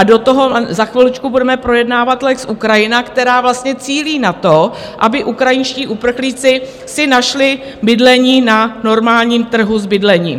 A do toho za chviličku budeme projednávat lex Ukrajina, která vlastně cílí na to, aby ukrajinští uprchlíci si našli bydlení na normálním trhu s bydlením.